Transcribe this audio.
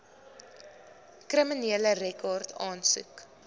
kriminele rekord aansoek